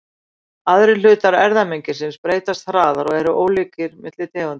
Aðrir hlutar erfðamengisins breytast hraðar og eru ólíkari milli tegunda.